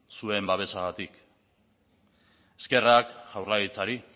zuen babesagatik eskerrak jaurlaritzari